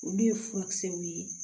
Olu ye furakisɛw ye